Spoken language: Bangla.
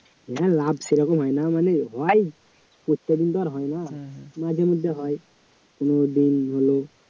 হ্যাঁ লাভ সেরকম হয় না মানে হয় প্রত্যেকদিন তো আর হয় না মাঝেমধ্যে হয় কোনোদিন হল